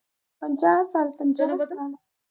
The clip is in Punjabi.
ਪੰਜਾਹ ਸਾਲ ਪੰਜਾਹ ਸਾਲ।